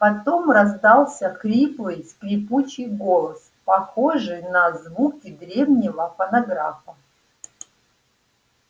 потом раздался хриплый скрипучий голос похожий на звуки древнего фонографа